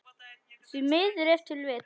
Því miður ef til vill?